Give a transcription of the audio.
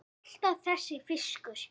Alltaf þessi fiskur.